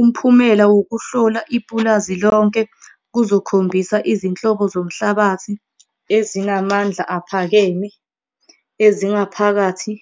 Umphumelo wokuhlola ipulazi lonke kuzokukhombisa izinhlobo zomhlabathi ezinamandla aphakeme, ezingaphakathi